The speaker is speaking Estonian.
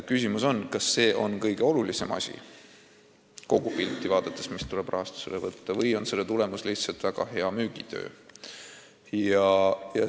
Küsimus on, kas see on kogupilti vaadates kõige olulisem asi, mis tuleks rahastusele võtta, või on siin tegemist lihtsalt väga hea müügitööga.